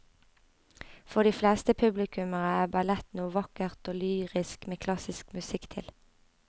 For de fleste publikummere er ballett noe vakkert og lyrisk med klassisk musikk til.